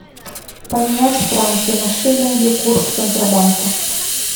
поменять франки на шиллинги курс центробанка